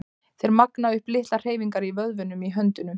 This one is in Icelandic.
Þeir magna upp litlar hreyfingar í vöðvunum í höndunum.